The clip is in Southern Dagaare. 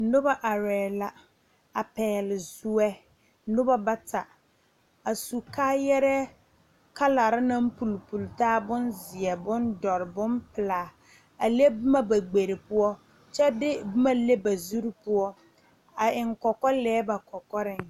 Noba arɛɛ la, a pɛgle zoɛ, noba bata, a su kaayarɛɛ kalaare naŋ puli puli taa bonzeɛ, bompeɛle, bondɔre, a le boma ba kpere poɔ, kyɛ de boma le ba zurri poɔ, a eŋ kɔkɔ lɛɛ ba kɔkɔrɛɛ